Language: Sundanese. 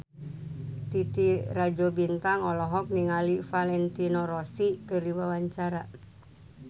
Titi Rajo Bintang olohok ningali Valentino Rossi keur diwawancara